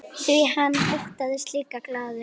Því hann þóttist líka glaður.